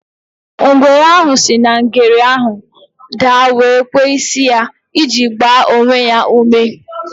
Ngwere ahụ si na ngere ahụ daa wee kwee isi ya iji gbaa onwe ya ume.